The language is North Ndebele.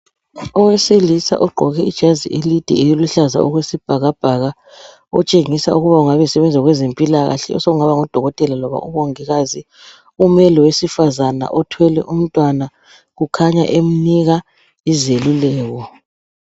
Owesilisa ogqoke ijazi elide eliluhlaza okwesibhakabhaka otshengisa ukuba engabe esebenza kwezempilakahle, osekungaba ngudokotela loba umongikazi. Ume lowesifazana othwele umntwana, kukhanya emnika izeluleko.